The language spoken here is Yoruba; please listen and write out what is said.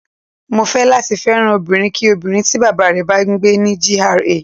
Mo fẹ́ láti fẹ́ràn obìnrin kí obìnrin tí Bàbá rẹ̀ bá ń gbé ní GRA.